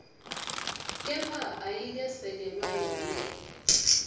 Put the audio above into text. kepha ayikesekelwa yonkhe